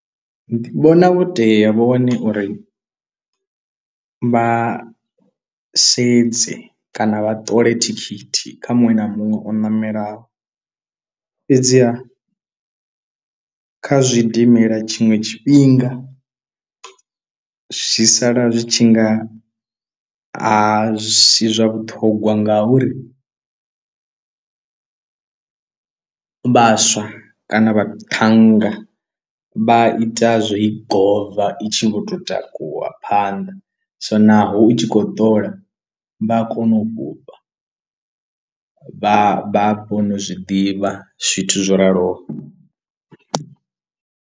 Ndi vhona vho tea vho wane uri vha sedze kana vha ṱole thikhithi kha muṅwe na muṅwe o ṋamelaho fhedziha kha zwidimela tshinwe tshifhinga zwi sala zwi tshi nga a si zwa vhuṱhongwa, ngauri vhaswa kana vhaṱhannga vha ita zwo i gova i tshi vho to takuwa phanḓa so naho u tshi khou ḓola vha a kona u fhufha vha vha kona u zwi ḓivha zwithu zwo raloho.